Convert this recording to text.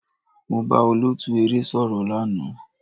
Mo bá olóòtú eré sọ̀rọ̀ lánàá.